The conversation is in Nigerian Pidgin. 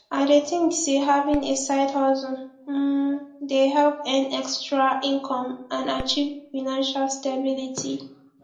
i dey think say having a sidehustle um dey help earn extra income and achieve financial stability